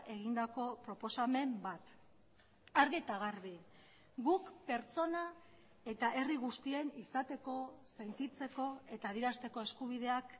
egindako proposamen bat argi eta garbi guk pertsona eta herri guztien izateko sentitzeko eta adierazteko eskubideak